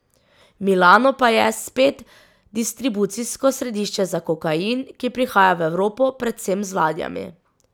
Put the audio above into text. Milano pa je, spet, distribucijsko središče za kokain, ki prihaja v Evropo predvsem z ladjami.